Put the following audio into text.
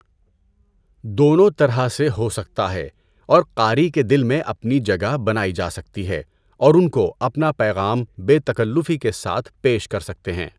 دونوں طرح سے ہو سکتا ہے اور قاری کے دل میں اپنی جگہ بنائی جا سکتی ہے اور ان کو اپنا پیغام بے تکلفی کے ساتھ پیش کر سکتے ہیں۔